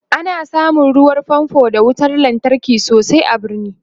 ana samun ruwan fanfo d wutar lantarki sosai a birni